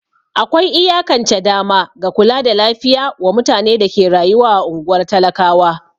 Akwai iyakance dama ga kula da lafiya wa mutane da ke rayuwa a ungwar talakawa.